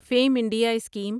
fame India scheme